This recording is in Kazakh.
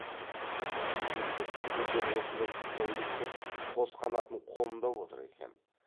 сүйіндік сүгірлер осындай сылтауды күтіп қос қанатын қомдап отыр екен